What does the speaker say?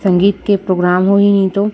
संगीत के प्रोग्राम होई नहीं तो--